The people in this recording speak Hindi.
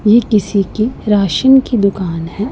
ये किसी की राशन की दुकान है।